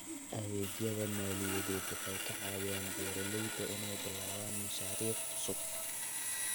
Adeegyada maaliyadeed waxay ka caawiyaan beeralayda inay bilaabaan mashaariic cusub.